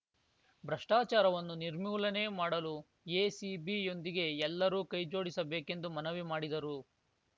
ಭ್ರಷ್ಟಾಚಾರವನ್ನು ನಿರ್ಮೂಲನೆ ಮಾಡಲು ಎಸಿಬಿ ಯೊಂದಿಗೆ ಎಲ್ಲರೂ ಕೈಜೋಡಿಸಬೇಕೆಂದು ಮನವಿ ಮಾಡಿದರು